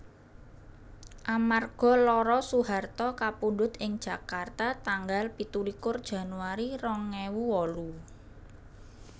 Amarga lara Soeharto kapundhut ing Jakarta tanggal pitulikur Januari rong ewu wolu